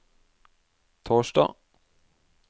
torsdag